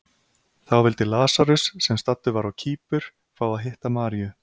Þá vildi Lasarus, sem staddur var á Kýpur, fá að hitta Maríu.